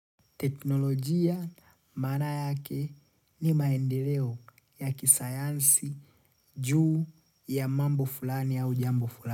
Teknolojia maana yake ni maendeleo ya kisayansi juu ya mambo fulani au jambo fulani.